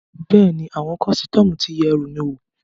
Bẹ́ẹ̀ni, àwọn kọ́sítọ́mù ti yẹ ẹrù mi wò